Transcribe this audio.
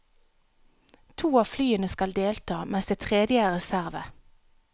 To av flyene skal delta, mens det tredje er reserve.